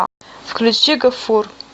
включи гафур